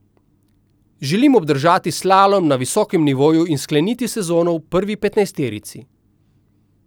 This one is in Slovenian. Želim obdržati slalom na visokem nivoju in skleniti sezono v prvi petnajsterici.